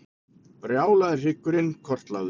Brjálaði hryggurinn kortlagður